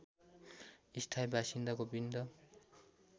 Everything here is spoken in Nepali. स्थायी बासिन्दा गोविन्द